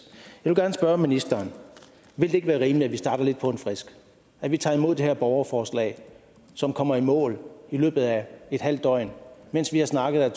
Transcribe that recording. jeg vil gerne spørge ministeren vil det ikke være rimeligt at vi starter lidt på en frisk at vi tager imod det her borgerforslag som kommer i mål i løbet af et halvt døgn mens vi har snakket er